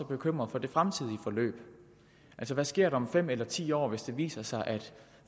bekymret for det fremtidige forløb altså hvad sker der om fem eller ti år hvis det viser sig at